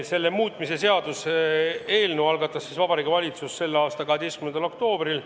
Selle eelnõu algatas Vabariigi Valitsus k.a 12. oktoobril.